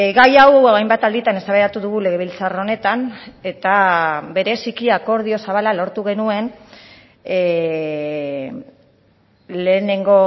gai hau hainbat alditan eztabaidatu dugu legebiltzar honetan eta bereziki akordio zabala lortu genuen lehenengo